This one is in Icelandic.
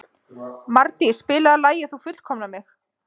Mardís, spilaðu lagið „Þú fullkomnar mig“.